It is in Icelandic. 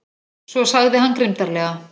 Svo sagði hann grimmdarlega